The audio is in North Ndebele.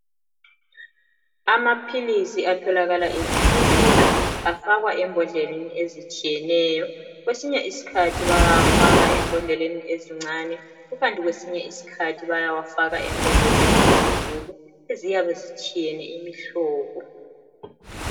Amaphilisi atholakala ezibhedlela afakwa embodleleni ezitshiyeneyo. Kwesinye isikhathi bayawafaka embodleleni ezincane, kukanti kwesinye isikhathi bayawafaka embodleleni ezinkulu, eziyabe zitshiyene imihlobo.